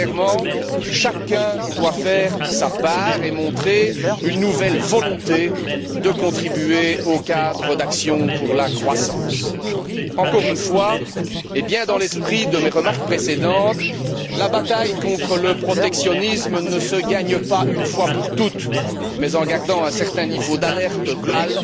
Clairement, chacun doit faire sa part et montrer une nouvelle volonté de contribuer au cadre d'action pour la croissance. Je tiens à dire encore une fois, dans l'esprit de mes remarques précédentes, que la bataille contre le protectionnisme ne se gagne pas une fois pour toutes mais en gardant un certain niveau d'alerte globale